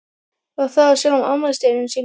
Og það á sjálfum afmælisdeginum sínum.